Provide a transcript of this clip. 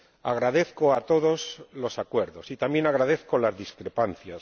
Agradezco a todos los acuerdos y también agradezco las discrepancias.